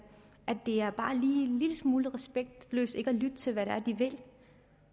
lille smule respektløst ikke at lytte til hvad